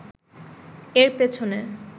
এর পেছনে